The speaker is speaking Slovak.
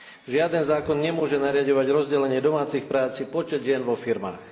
Žiaden zákon nemôže nariaďovať rozdelenie domácich prác či počet žien vo firmách.